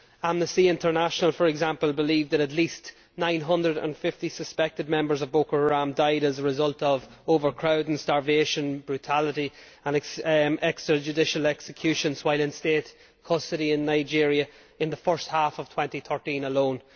Amnesty International, for example, believes that at least 950 suspected members of Boko Haram died as a result of overcrowding, starvation, brutality and extrajudicial executions while in state custody in Nigeria in the first half of 2013 alone.